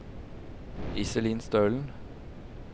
Iselin Stølen